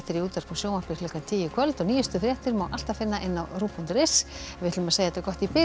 í útvarpi og sjónvarpi klukkan tíu í kvöld og nýjustu fréttir má alltaf finna á rúv punktur is en við segjum þetta gott í bili